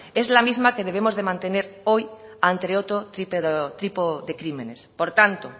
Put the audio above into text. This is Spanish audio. es la misma que debemos mantener hoy ante otro tipo de crímenes por tanto